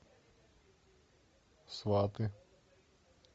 сваты